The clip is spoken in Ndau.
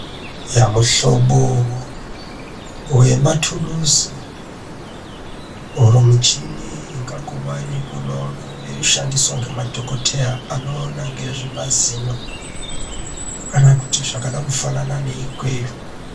Yaa! muhlobo wematuluzi oro michini ingangova yeingova yeishandiswa ngemadhokoteya anoona ngezvemazino kana kuti zvakada kufanana neikweyo.